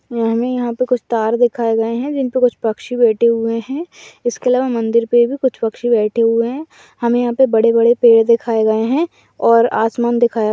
हमें यहां पर कुछ तार दिखाए गए है जिनपे कुछ पक्षी बैठे हुए है इसके अलावा मंदिर पे भी कुछ पक्षी बैठे हुए है हमे यहा पे बड़े बड़े पेड़ दिखाए गए है और आसमान दिखाया --